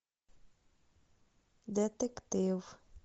детектив